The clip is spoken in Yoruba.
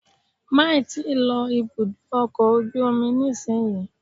Máì tí ì lọ ibùdó ọkọ̀ ojú omi nísinyí